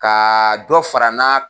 Kaa dɔ fara na.